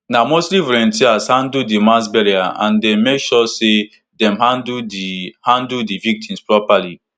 na mostly volunteers handle di mass burial and dem make sure say dem handle di handle di victims properly